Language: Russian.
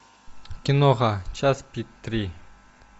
киноха час пик три